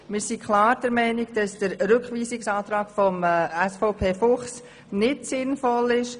Wir sind klar der Meinung, dass der Rückweisungsantrag SVP Fuchs nicht sinnvoll ist.